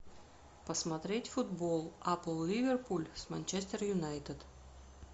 посмотреть футбол апл ливерпуль с манчестер юнайтед